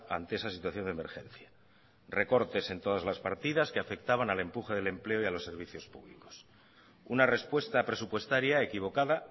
ante esa situación de emergencia recortes en todas las partidas que afectaban al empuje del empleo y a los servicios públicos una respuesta presupuestaria equivocada